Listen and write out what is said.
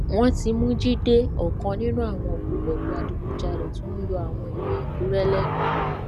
wọn ti mú jíde ọkan nínú àwọn ògbólógbòó adigunjalè tó ń yọ àwọn èèyàn àkúrè lẹnu